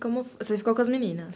como, você ficou com as meninas?